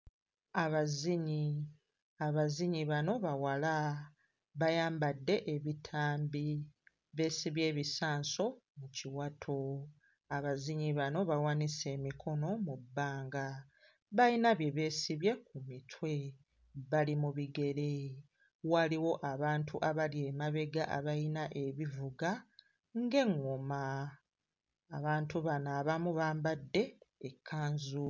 Abazinyi, abazinyi bano bawala bayambadde ebitambi beesibye ebisanso mu kiwato, abazinyi bano bawanise emikono mu bbanga, bayina bye beesibye ku mitwe, bali mu bigere, waliwo abantu abali emabega abayina ebivuga ng'eŋŋoma, abantu bano abamu bambadde ekkanzu.